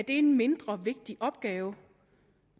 en mindre vigtig opgave